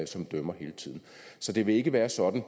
som dømmer hele tiden så det vil ikke være sådan